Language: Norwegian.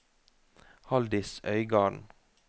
Halldis Øygarden